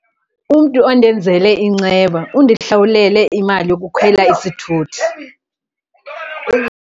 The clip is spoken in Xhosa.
Umntu ondenzele inceba undihlawulele imali yokukhwela isithuthi.